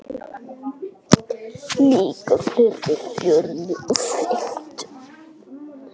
Líka þeirri fjórðu og fimmtu.